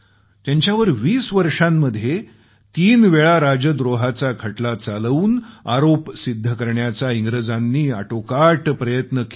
त्यांच्यावर 20 वर्षांमध्ये तीनवेळा राजद्रोहाचा खटला चालवून आरोप सिद्ध करण्याचा इंग्रजांनी अटोकाट प्रयत्न केला